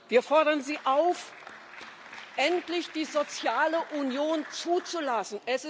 Wir fordern Sie auf, endlich die soziale Union zuzulassen.